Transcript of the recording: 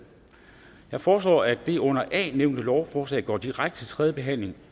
jeg foreslår at det under a nævnte lovforslag går direkte til tredje behandling